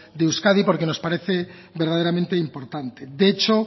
de euskadi porque nos parece verdaderamente importante de hecho